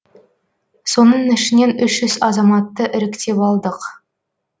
соның ішінен үш жүз азаматты іріктеп алдық